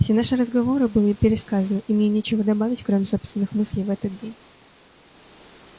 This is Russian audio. все наши разговоры были пересказаны и мне нечего добавить кроме собственных мыслей в этот день